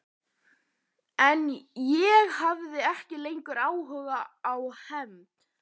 Nú læturðu rigna á handarbak milli fingra